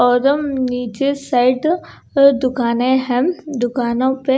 अदम नीचे साइड दुकानें है दुकानों पे--